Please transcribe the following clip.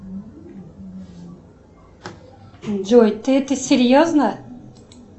джой ты это серьезно